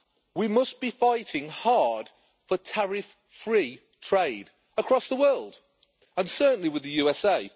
We must be fighting hard for tariff free trade across the world, and certainly with the USA.